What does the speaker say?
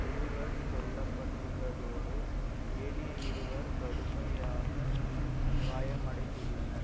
இருவர் கொல்ல பட்டுள்ளதோடு ஏனைய இருவர் கடுமையாக காயமடைந்துள்ளனர்